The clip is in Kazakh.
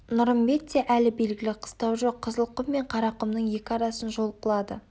нұрымбетте әлі белгілі қыстау жоқ қызылқұм мен қарақұмның екі арасын жол қылады